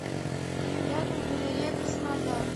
рядом галерея краснодар